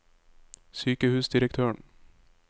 sykehusdirektøren